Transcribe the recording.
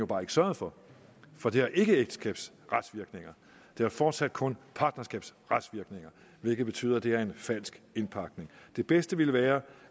bare ikke sørget for for det har ikke ægteskabsretsvirkninger det har fortsat kun partnerskabsretsvirkninger hvilket betyder at det er en falsk indpakning det bedste ville være